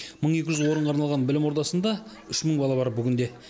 мың екі жүз орынға арналған білім ордасында үш мың бала бар бүгінде